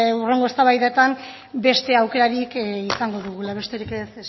hurrengo eztabaidetan beste aukerarik izango dugula besterik ez